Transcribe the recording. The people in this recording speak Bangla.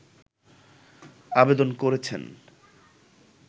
আবেদন করেছেন